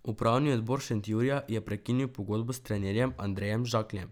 Upravni odbor Šentjurja je prekinil pogodbo s trenerjem Andrejem Žakljem.